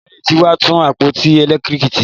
Onílé ti wá tún àpótí elekitiriki ṣe